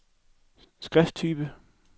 skrifttype